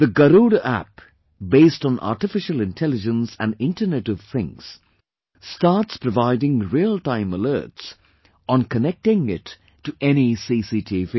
The Garuda App, based on Artificial Intelligence and Internet of Things, starts providing real time alerts on connecting it to any CCTV